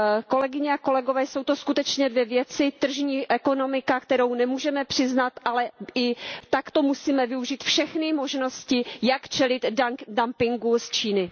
Kolegyně a kolegové, jsou to skutečně dvě věci tržní ekonomika, kterou nemůžeme přiznat, ale i takto musíme využít všechny možnosti, jak čelit dumpingu z Číny.